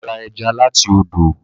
Bàbá rà ẹja láti ọdọ.